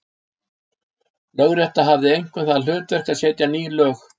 Lögrétta hafði einkum það hlutverk að setja ný lög.